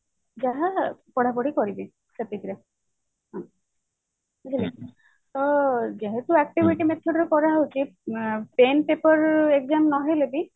ଯାହା ପଢାପଢି କରିବେ ସେତିକିରେ ବୁଝିଲେ କି ତ ଯେହେତୁ activity method ରେ କରା ହଉଛି ଆଁ pen paper exam ନ ହେଲେ ବି